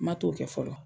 Ma t'o kɛ fɔlɔ